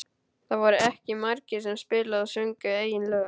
Það voru ekki margir sem spiluðu og sungu eigin lög.